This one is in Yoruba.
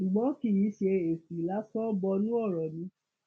ṣùgbọn kì í ṣe èsì lásán bọnú ọrọ ni